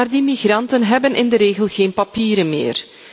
Maar die migranten hebben in de regel geen papieren meer.